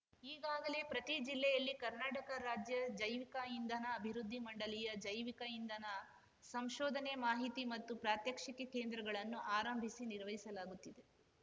ಈಗಾಗಲೇ ಪ್ರತಿ ಜಿಲ್ಲೆಯಲ್ಲಿ ಕರ್ನಾಟಕ ರಾಜ್ಯ ಜೈವಿಕ ಇಂಧನ ಅಭಿವೃದ್ಧಿ ಮಂಡಳಿಯ ಜೈವಿಕ ಇಂಧನ ಸಂಶೋಧನೆ ಮಾಹಿತಿ ಮತ್ತು ಪ್ರಾತ್ಯಕ್ಷಿಕೆ ಕೇಂದ್ರಗಳನ್ನು ಆರಂಭಿಸಿ ನಿರ್ವಹಿಸಲಾಗುತ್ತಿದೆ